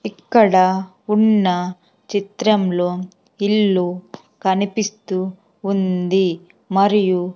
ఇక్కడ ఉన్న చిత్రంలో ఇల్లు కనిపిస్తూ ఉంది మరియు--